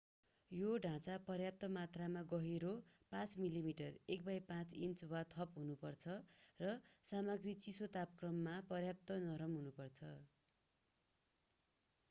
यो ढाँचा पर्याप्त मात्रामा गहिरो 5 मिलिमिटर 1/5 इन्च वा थप हुनुपर्छ र सामग्री चिसो तापक्रमहरूमा पर्याप्त नरम हुनुपर्छ।